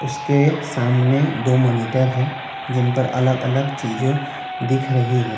उसके सामने दो मॉनिटर है जिन पर अलग अलग चीजों दिख रही है।